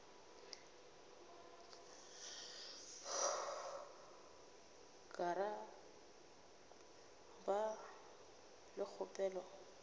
ka ra ba le kgopelo